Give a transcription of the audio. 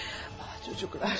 Ay, çocuklar.